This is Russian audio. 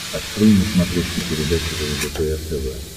открой на смотрешке передачу лдпр тв